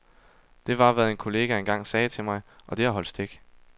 Det var, hvad en kollega engang sagde til mig, og det har holdt stik.